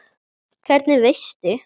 Hvernig veistu?